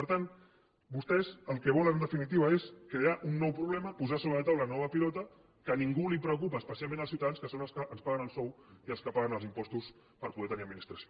per tant vostès el que volen en definitiva és crear un nou problema posar sobre la taula una nova pilota que a ningú preocupa especialment als ciutadans que són els que ens paguen el sou i els que paguen els impostos per poder tenir administració